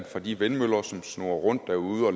fra de vindmøller som snurrer rundt derude og